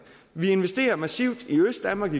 vi investerer igen massivt i østdanmark